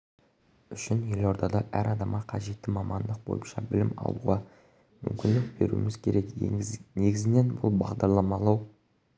үшін елордада әр адамға қажетті мамандық бойынша білім алуға мүмкіндік беруіміз керек негізінен бұл бағдарламалау